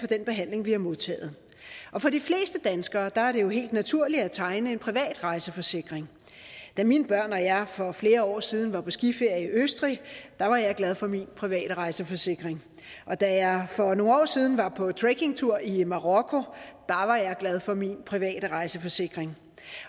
den behandling vi har modtaget for de fleste danskere er det jo helt naturligt at tegne en privat rejseforsikring da mine børn og jeg for flere år siden var på skiferie i østrig var jeg glad for min private rejseforsikring og da jeg for nogle år siden var på trekkingtur i marokko var jeg glad for min private rejseforsikring